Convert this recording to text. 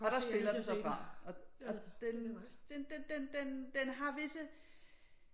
Og der spiller den så fra og den den her visse